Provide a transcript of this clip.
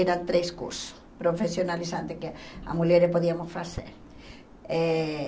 Eram três cursos profissionalizantes que as mulheres podíamos fazer. Eh